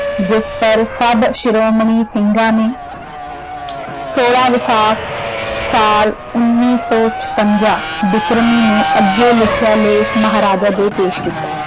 ਜਿਸ ਪਰ ਸਭ ਸ਼੍ਰੋਮਣੀ ਸਿੰਘਾਂ ਨੇ ਸੋਲਾਂ ਵੈਸਾਖ ਸਾਲ ਉੱਨੀ ਸੋ ਛਪੰਜਾ ਬਿਕਰਮੀ ਨੂੰ ਅੱਗੇ ਲਿਖਿਆ ਲੇਖ ਮਹਾਰਾਜਾ ਦੇ ਪੇਸ਼ ਕੀਤਾ।